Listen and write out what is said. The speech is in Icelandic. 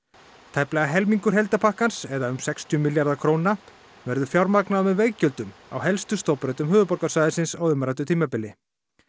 tæplega helmingur eða um sextíu milljarðar króna verður fjármagnaður með veggjöldum á helstu stofnbrautum höfuðborgarsvæðisins á umræddu tímabili